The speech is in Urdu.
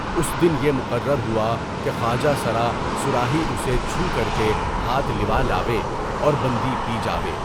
اُس دن پہ مقرر ہوا کہ خواجہ سرِ اصراحی اُسی چو کرکے ہاتھ لوالاوے اور بندی پے جاوے۔